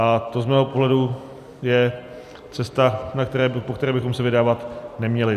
A to z mého pohledu je cesta, po které bychom se vydávat neměli.